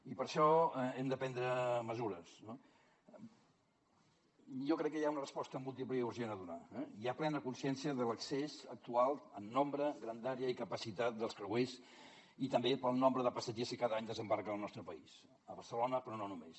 i per això hem de prendre mesures no i jo crec que hi ha una resposta múltiple i urgent a donar eh hi ha plena consciència de l’excés actual en nombre grandària i capacitat dels creuers i també pel nombre de passatgers que cada any desembarquen al nostre país a barcelona però no només